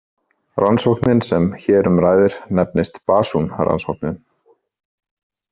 Rannsóknin sem hér um ræðir nefnist „Basun-rannsóknin“.